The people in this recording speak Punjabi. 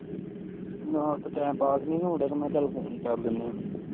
ਨਾ ਤੇ time pass ਨੀ ਹੋਣ ਡਿਆ ਸੀ ਮੈਂ ਕਿਹਾ ਚੱਲ ਫੋਨ ਹੀਂ ਕਰ ਲੈਂਦੇ ਐ